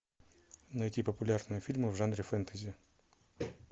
найти популярные фильмы в жанре фэнтези